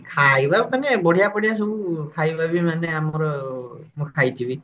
ଖାଇବା ମାନେ ବଢିଆ ବଢିଆ ସବୁ ଖାଇବା ବି ଆମର ମୁଁ ଖାଇଛି ବି